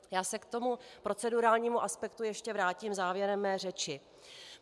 Já se k tomu procedurálnímu aspektu ještě vrátím závěrem své řeči.